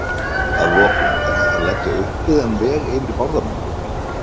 Að lokum: Er hægt að leggja uppbyggðan veg yfir Bárðarbungu?